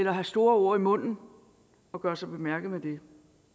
at have store ord i munden og gøre sig bemærket med det